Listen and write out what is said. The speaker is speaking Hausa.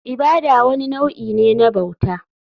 Ibada wani nau'i ne na bauta.